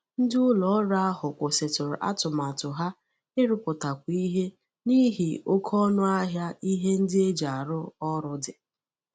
Ndị ụlọ ọrụ ahụ kwụsịtụrụ atụmatụ ha ịrụpụtakwu ihe n'ihi oke ọnụ ahịa ihe ndị e ji arụ ọrụ dị